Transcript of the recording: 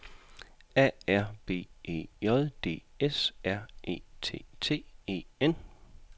A R B E J D S R E T T E N